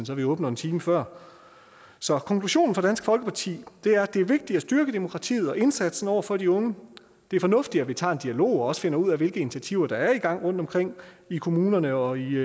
så vi åbner en time før så konklusionen fra dansk folkeparti er at det er vigtigt at styrke demokratiet og indsatsen over for de unge det er fornuftigt vi tager en dialog og også finder ud af hvilke initiativer der er i gang rundtomkring i kommunerne og i